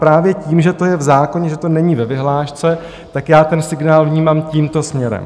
Právě tím, že to je v zákoně, že to není ve vyhlášce, tak já ten signál vnímám tímto směrem.